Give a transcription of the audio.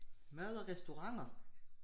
Mad og restauranter